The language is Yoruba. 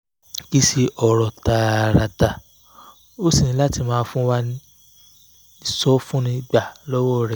kì í ṣe ọ̀rọ̀ tààràtà o o sì ní láti máa wá ìsọfúnni gbà lọ́wọ́ rẹ̀!